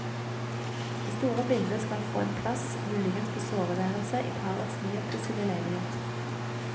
Det store bildet skal få en plass, muligens på soveværelset i parets nyoppussede leilighet.